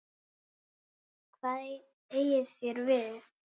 Hvað eigið þér við?